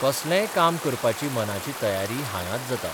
कसलेंय काम करपाची मनाची तयारी हांगांच जाता.